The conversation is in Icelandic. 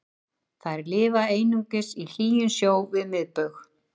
þær lifa einungis í hlýjum sjó við miðbaug